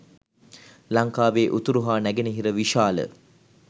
ලංකාවේ උතුරු හා නැගෙනහිර විශාල